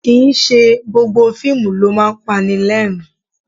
Kì í ṣe gbogbo fíìmù ló máa ń pani lẹ́rìn-ín